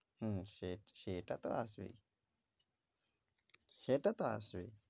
হম সেট~ সেটা তো আছেই, সেটা তো আছেই।